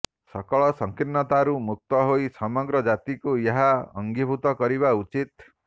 ସକଳ ସଂକୀର୍ଣ୍ଣତାରୁ ମୁକ୍ତ ହୋଇ ସମଗ୍ର ଜାତିକୁ ଏହା ଅଙ୍ଗୀଭୂତ କରିବା ଉଚିତ